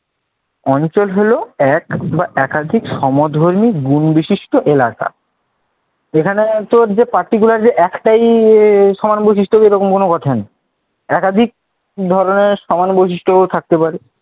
অঞ্চল হল এক বা একাধিক সমধর্মী গুণ বিশিষ্ট এলাকা। এখানে তোর যে particularly যে একটাই সমান বৈশিষ্ট্য এমন কোনও কথা নেই। একাধিক ধরনের সমান বৈশিষ্ট্যও থাকতে পারে